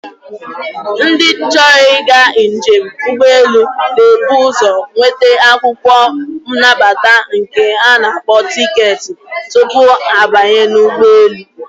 Ndị chọrọ ịga njem ụgbọelu na-ebu ụzọ nweta akwụkwọ nnabata nke a na-akpọ tiketi tupu ha abanye n'ụgbọelu.